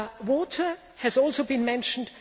Water has also been mentioned.